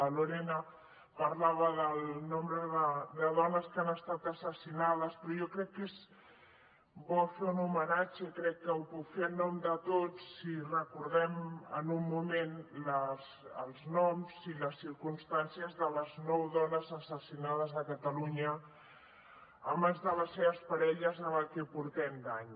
la lorena parlava del nombre de dones que han estat assassinades però jo crec que és bo fer un homenatge i crec que ho puc fer en nom de tots si recordem en un moment els noms i les circumstàncies de les nou dones assassinades a catalunya a mans de les seves parelles en el que portem d’any